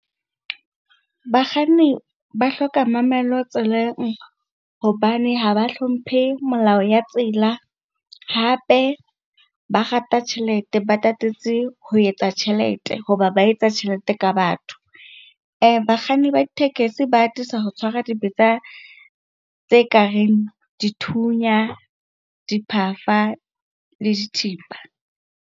Bakganni ba hloka mamello tseleng hobane ha ba hlomphe melao ya tsela. Hape ba rata tjhelete, ba tatetse ho etsa tjhelete hoba ba etsa tjhelete ka batho. Bakganni ba ditekesi ba atisa ho tshwara dibetsa tse kareng dithunya, diphafa le dithipa.